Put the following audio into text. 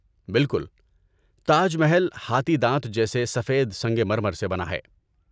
بالکل۔ تاج محل ہاتھی دانت جیسے سفید سنگ مرمر سے بنا ہے۔